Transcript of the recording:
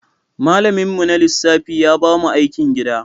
Malaminmu na lissafi ya ba mu aikin gida.